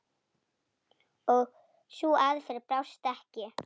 Og sú aðferð brást ekki.